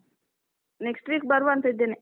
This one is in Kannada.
next week ಬರುವ ಅಂತ ಇದ್ದೇನೆ.